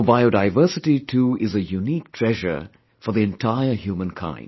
Our biodiversity too is a unique treasure for the entire human kind